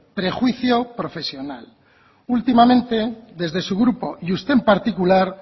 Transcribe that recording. prejuicio profesional últimamente desde su grupo y usted en particular